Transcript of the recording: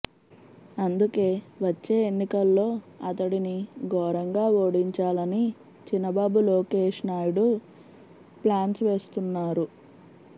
అందుకే వచ్చే ఎన్నికల్లో అతడిని ఘోరంగా ఓడించాలని చినబాబు లోకేష్ నాయుడు ప్లాన్స్ వేస్తున్నారు